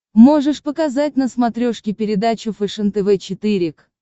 можешь показать на смотрешке передачу фэшен тв четыре к